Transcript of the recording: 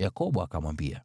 Yakobo akamwambia,